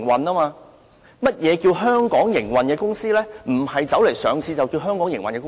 並不是在香港上市的公司就是在香港營運。